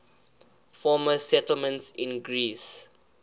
former settlements in greece